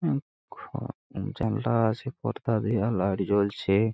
উম খ জানলা আছে পর্দা দেওয়া লাইট জলছে ।